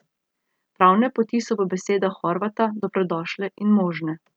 Pravne poti so po besedah Horvata dobrodošle in možne.